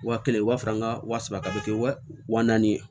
Wa kelen i b'a sɔrɔ an ka wa saba bɛ kɛ wa naani ye